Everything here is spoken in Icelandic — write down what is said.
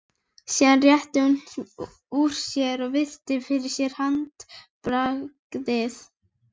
Aðvörunarbjalla sýningarstjórans hringir í síðasta sinn.